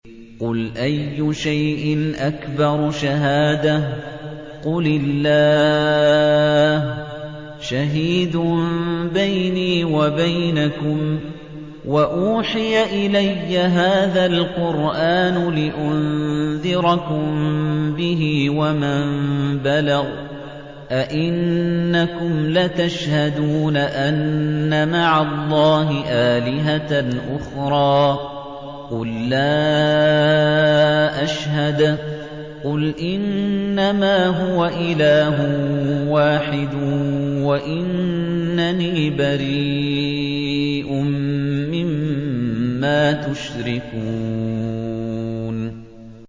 قُلْ أَيُّ شَيْءٍ أَكْبَرُ شَهَادَةً ۖ قُلِ اللَّهُ ۖ شَهِيدٌ بَيْنِي وَبَيْنَكُمْ ۚ وَأُوحِيَ إِلَيَّ هَٰذَا الْقُرْآنُ لِأُنذِرَكُم بِهِ وَمَن بَلَغَ ۚ أَئِنَّكُمْ لَتَشْهَدُونَ أَنَّ مَعَ اللَّهِ آلِهَةً أُخْرَىٰ ۚ قُل لَّا أَشْهَدُ ۚ قُلْ إِنَّمَا هُوَ إِلَٰهٌ وَاحِدٌ وَإِنَّنِي بَرِيءٌ مِّمَّا تُشْرِكُونَ